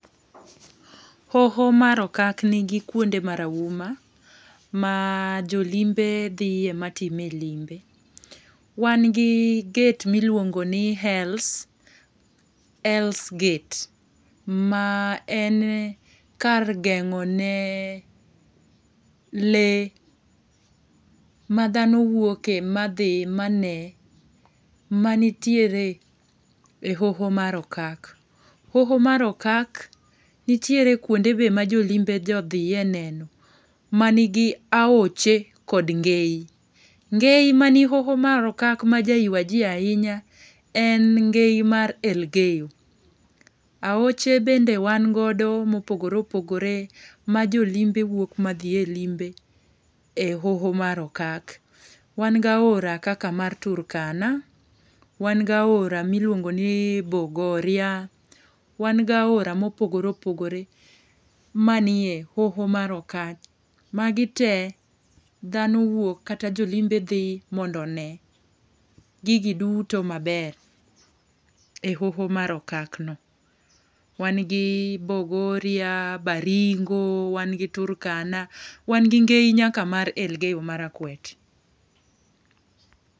Hoho mar okak ni gi kuonde marahuma ma jo limbe dhiye ma tim e limbe. Wan gi gate mi liluongo ni Hells gate ma en kar gengo ne lee, ma dhano wuoke ma dhi mane ma nitiere e hoho mar okak. Hoho mar okak nitiere e hoho mar okak. Hoho mar okak nitiere kuonde be ma jo limbe jo dhiga neno ma ni gi aoche kod ngeyi. Ngeyi mar okak ma ja ywa ji ahinya en ngeyi mar Elgeyo. Aoche bende wan go ma opogore opogore ma jo limbe wuok ma dhiye limbe e hoho mar okak. Wan ga aora kaka mar Turkana, wan ga ora mi iluongo ni Bogoria, wan ga aora ma opogore opogore ma ni e hoho mar okak. Ma gi te dhano wuok kata jo limbe dhi mondo one gigi duto maber e hoho mar okak no.Wan gi Bogoria, Baringo ,wan gi Turakana, wan gi ngeyi nyaka mar Elgeyo marakwet